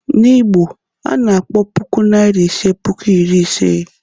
N'Igbo, a na-akpọ puku Naịra iri ise "puku iri ise."